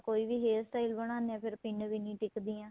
ਕੋਈ ਵੀ hair style ਬਣਾਦੇ ਹਾਂ ਫ਼ੇਰ ਪਿੰਨ ਵੀ ਨਹੀਂ ਟਿੱਕਦੀਆਂ